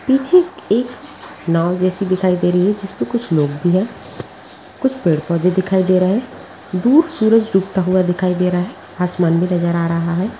पीछे एक नाव जैसी दिखाई दे रही है जिसपे कुछ लोग भी हैं | कुछ पेड़ पोधे दिखाई दे रहे हैं | दूर सूरज डूबता हुआ दिखाई दे रहा है | आसमान भी नजर आ रहा है।